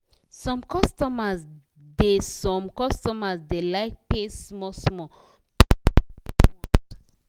some customer da some customer da like pay small small pass to pay once